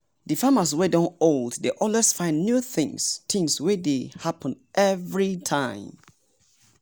the farmers wey don old dey always find new tins tins wey dey happen everytime.